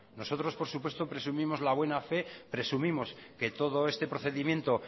nosotros por supuesto presumimos la buena fe presumimos que todo este procedimiento